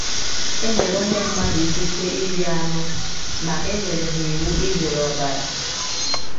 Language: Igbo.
E nyere ụmụ mmadụ ikike iri anụ ma e nyere ha iwu izere ọbara.